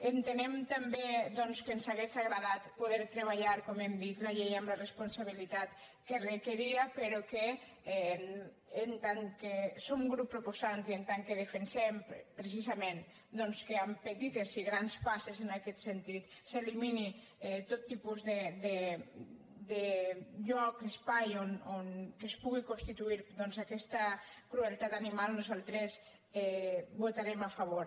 entenem també doncs que ens hauria agradat poder treballar com hem dit la llei amb la responsabilitat que requeria però que en tant que en som grup proposant i en tant que defensem precisament que amb petites i grans passes en aquest sentit s’elimini tot tipus de lloc espai en què es pugui constituir aquesta crueltat animal nosaltres hi votarem a favor